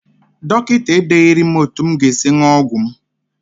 Dọkịta edeghiri m etu m ga- esi ṅụọ ọgwụ m.